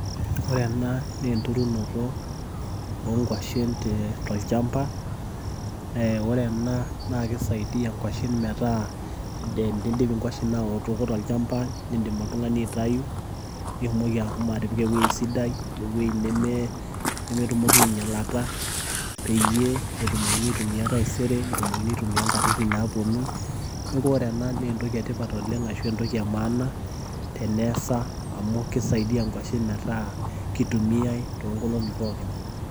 Ore ena na enturunoto onkwashen te tolchamba. Ore ena, na kisaidia inkwashen metaa tenidip inkwashen aotoko tolchamba, nidim oltung'ani aitayu, nitumoki ashomo atipika ewueji sidai, ewei nemetumoki ainyalata, peyie etumokini aitumia taisere, etumokini aitumia nkatitin naponu. Neeku ore ena na entoki etipat oleng' ashu ebtoki emaana, teneesa amu kisaidia nkwashen metaa kitumiai toonkolong'i pookin.